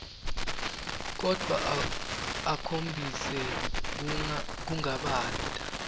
kodvwa akhombise kungabata